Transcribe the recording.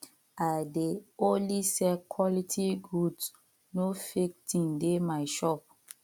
i dey only sell quality goods no fake thing dey my shop